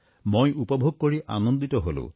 মই উপভোগ কৰি আনন্দিত হলো